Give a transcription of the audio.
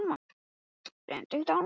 Hver er þolandinn í þessu máli.